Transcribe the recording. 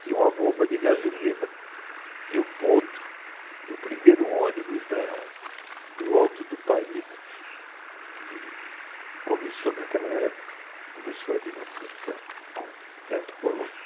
Tinha uma bomba de gasolina e o ponto do primeiro ônibus do Alto do Paris, que começou naquela época, começou ali na frente do Teatro Colombo.